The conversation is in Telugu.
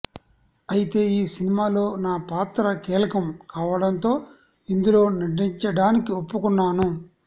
అయితే ఈ సినిమాలో నా పాత్ర కీలకం కావడంతో ఇందులో నటించడానికి ఒప్పుకున్నాను